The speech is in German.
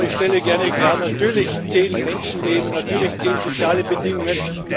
Aber ich stelle gerne klar Natürlich zählen Menschenleben, natürlich zählen soziale Bedingungen.